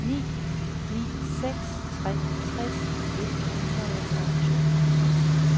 ni ni seks tre tres et hundrede og toogtres